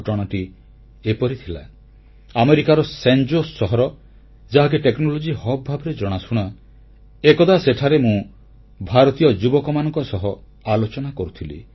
ଘଟଣାଟି ଏପରି ଥିଲା ଏକଦା ଆମେରିକାର ସାନ୍ ଜୋସ୍ ସହର ଯାହାକି ଟେକ୍ନୋଲଜିର ପେଣ୍ଠ ଭାବେ ଜଣାଶୁଣା ଏକଦା ସେଠାରେ ମୁଁ ଭାରତୀୟ ଯୁବକମାନଙ୍କ ସହ ଆଲୋଚନା କରୁଥିଲି